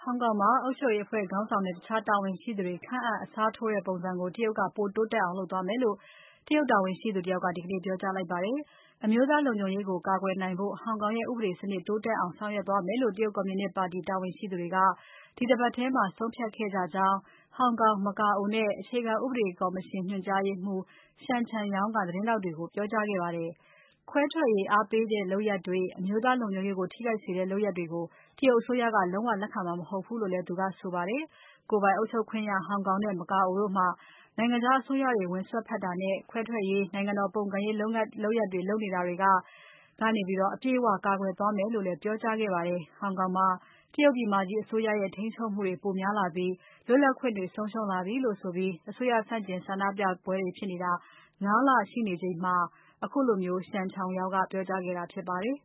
င်ကောင်မှာ အုပ်ချုပ်ရေးအဖွဲ့ခေါင်းဆောင်နဲ့ တခြားတာဝန်ရှိသူတွေ ခန့်အပ်၊ အစားထိုးတဲ့ ပုံစံကို တရုတ်က ပိုတိုးတက်အောင်လုပ်သွားမယ်လို့ တရုတ်တာဝန်ရှိသူ တယောက်က ဒီကနေ့ ပြောကြားလိုက်ပါတယ်။ အမျိုးသားလုံခြုံရေးကို ကာကွယ်နိုင်ဖို့ ဟောင်ကောင်ရဲ့ ဥပဒေစနစ် တိုးတက်အောင်ဆောင်ရွက်သွားမယ်လို့ တရုတ်ကွန်မြူနစ်ပါတီ တာဝန်ရှိသူတွေက ဒီတပတ်ထဲ ဆုံးဖြတ်ခဲ့ကြကြောင်း ဟောင်ကောင်၊ မကာအိုနဲ့ အခြေခံဥပဒေကော်မရှင် ညွှန်ကြားရေးမှူး Shen Chunyao က သတင်းထောက်တွေကို ပြောကြားခဲ့ပါတယ်။ ခွဲထွက်အားပေးတဲ့ လုပ်ရပ်တွေ၊ အမျိုးသားလုံခြုံရေးကို ထိခိုက်စေတဲ့ လုပ်ရပ်တွေကို တရုတ်အစိုးရက လုံးဝလက်ခံမှာ မဟုတ်ဘူးလို့ သူကဆိုပါတယ်။ ကိုယ်ပိုင်အုပ်ချုပ်ခွင့်ရ ဟောင်ကောင်နဲ့ မကာအိုတို့မှာ နိုင်ငံခြားအစိုးရတွေ ဝင်စွက်ဖက်တာနဲ့ ခွဲထွက်ရေး၊ နိုင်ငံတော်ပုံကန်ရေးလုပ်ရပ်တွေလုပ်နေတာတွေကနေ အပြည့်အဝ ကာကွယ်သွားမယ်လို့လည်း ပြောကြားခဲ့ပါတယ်။ ဟောင်ကောင်မှာ တရုတ်ပြည်မကြီး အစိုးရရဲ့ ထိန်းချုပ်မှုတွေ ပိုများလာပြီး လွတ်လပ်ခွင့်တွေ ဆုံးရှုံးလာပြီလို့ဆိုပြီး အစိုးရ ဆန့်ကျင်ရေး ဆန္ဒပြပွဲတွေဖြစ်နေတာ ၅ လရှိနေချိန်မှာ Shen Chunyao က ခုလိုပြောကြားခဲ့တာ ဖြစ်ပါတယ်